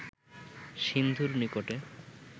সিন্ধুর নিকটে